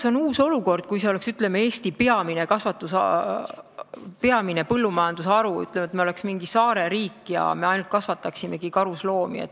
See oleks teine olukord, kui karusnahatööstus oleks, ütleme, Eesti peamine põllumajandusharu, kui me oleks mingi saareriik ja kasvataksime ainult karusloomi.